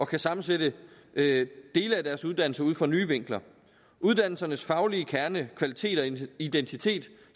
kan sammensætte dele af deres uddannelse ud fra nye vinkler uddannelsernes faglige kerne kvalitet og identitet